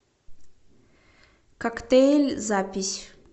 коктейль запись